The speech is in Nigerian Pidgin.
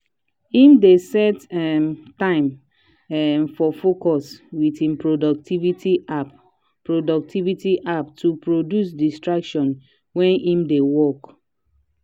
him dey set um time um for focus with him productivity app productivity app to reduce distraction wen him dey work. um